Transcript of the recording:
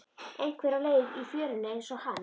Einhver á leið í fjöruna einsog hann.